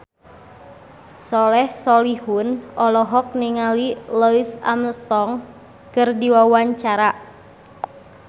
Soleh Solihun olohok ningali Louis Armstrong keur diwawancara